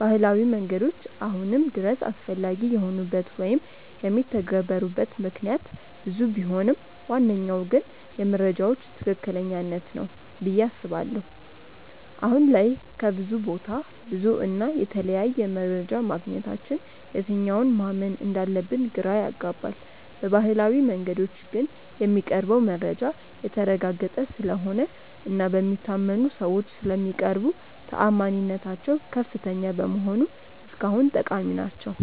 ባህላዊ መንገዶች አሁንም ድረስ አስፈላጊ የሆኑበት ወይም የሚተገበሩበት ምክንያት ብዙ ቢሆንም ዋነኛው ግን የመረጃዎች ትክክለኛነት ነው ብዬ አስባለሁ። አሁን ላይ ከብዙ ቦታ ብዙ እና የተለያየ መረጃ ማግኘታችን የትኛውን ማመን እንዳለብን ግራ ያጋባል። በባህላዊው መንገዶች ግን የሚቀርበው መረጃ የተረጋገጠ ስለሆነ እና በሚታመኑ ሰዎች ስለሚቀርቡ ተአማኒነታቸው ከፍተኛ በመሆኑ እስካሁን ጠቃሚ ናቸው።